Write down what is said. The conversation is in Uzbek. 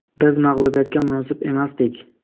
Biz mag‘lubiyatga munosib emasdik.